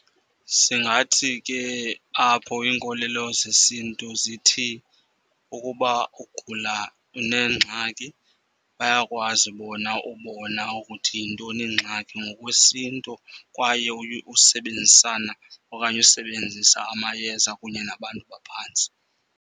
Singathi ke apho iinkolelo zesiNtu zithi ukuba ugula unengxaki bayakwazi bona ubona ukuthi yintoni ingxaki ngokwesiNtu, kwaye usebenzisana okanye usebenzisa amayeza kunye nabantu baphantsi.